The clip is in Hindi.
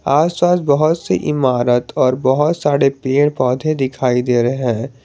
आस पास बहुत से इमारत और बहोत सारे पेड़ पौधे दिखाई दे रहे हैं।